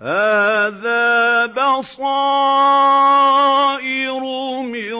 هَٰذَا بَصَائِرُ مِن